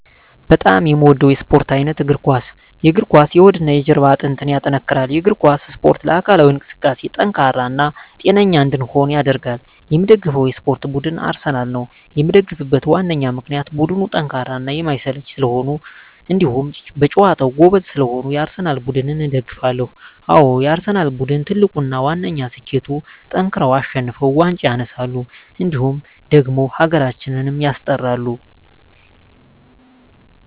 በጣም የምወደው የስፓርት አይነት የእግር ኳስ። የእግር ኳስ የሆድና የጀርባ አጥንትን ያጠነክራል። የእግር ኳስ እስፖርት ለአካላዊ እንቅስቃሴ ጠንካራ እና ጤነኛ እንድንሆን ያደርጋል። የምደግፈው የስፓርት ቡድን አርሰናል ነው። የምደግፍበት ዋነኛ ምክንያት ቡድኑ ጠንካራና የማይሰለች ስለሆኑ እንዲሁም በጨዋታቸው ጎበዝ ስለሆኑ የአርሰናል ቡድንን እደግፋለሁ። አዎ የአርሰናል ቡድን ትልቁና ዋነኛ ስኬቱጠንክረው አሸንፈው ዋንጫ ያነሳሉ እንዲሁም ደግሞ ሀገራችንም ያስጠራሉ።